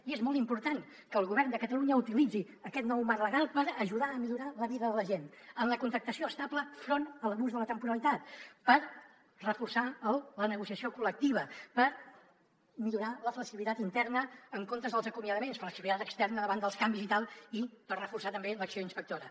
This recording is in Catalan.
i és molt important que el govern de catalunya utilitzi aquest nou marc legal per ajudar a millorar la vida de la gent en la contractació estable enfront de l’abús de la temporalitat per reforçar la negociació col·lectiva per millorar la flexibilitat interna en comptes dels acomiadaments flexibilitat externa davant dels canvis i tal i per reforçar també l’acció inspectora